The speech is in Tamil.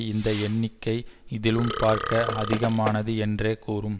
இந்த எண்ணிக்கை இதிலும் பார்க்க அதிகமானது என்றே கூறும்